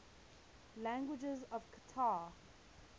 languages of qatar